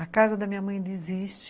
A casa da minha mãe ainda existe.